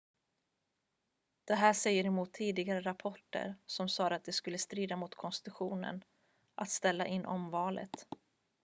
det här säger emot tidigare rapporter som sade att det skulle strida mot konstitutionen att ställa in omvalet